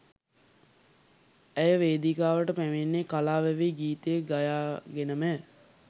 ඇය වේදිකාවට පැමිණෙන්නේ කලා වැවේ ගීතය ගයා ගෙනමය